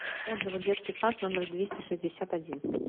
отзывы детский сад номер двести шестьдесят один